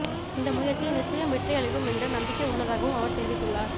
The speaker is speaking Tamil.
இந்த முயற்சி நிச்சயம் வெற்றி அளிக்கும் என்று நம்பிக்கை உள்ளதாகவும் அவர் தெரிவித்துள்ளார்